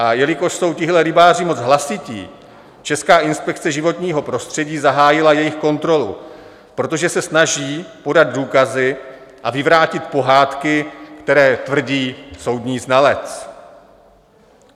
A jelikož jsou tihle rybáři moc hlasití, Česká inspekce životního prostředí zahájila jejich kontrolu, protože se snaží podat důkazy a vyvrátit pohádky, které tvrdí soudní znalec.